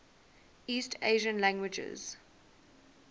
east asian languages